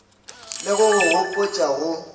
le go go gopotša go